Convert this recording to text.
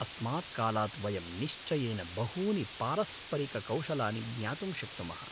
अस्मात् कालात् वयं निश्चयेन बहूनि पारस्परिककौशलानि ज्ञातुं शक्नुमः।